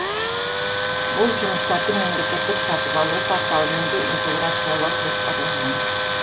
бұл жұмыстарды мемлекеттік сатып алу порталымен де интеграциялау жоспарланған